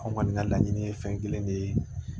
An kɔni ka laɲini ye fɛn kelen de ye